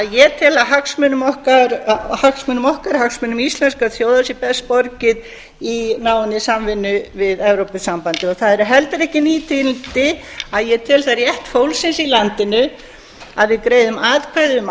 ég tel að hagsmunum okkar hagsmunum íslenskrar þjóðar sé best borgið í náinni samvinnu við evrópusambandið það eru heldur ekki ný tíðindi að ég tel það rétt fólksins í landinu að við greiðum atkvæði um